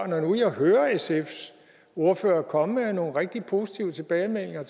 når nu jeg hører sfs ordfører komme med nogle rigtig positive tilbagemeldinger